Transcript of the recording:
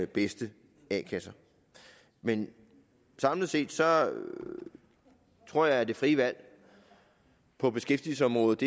bedste a kasser men samlet set tror jeg at det frie valg på beskæftigelsesområdet